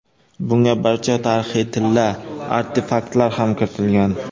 Bunga barcha tarixiy tilla artefaktlar ham kiritilgan.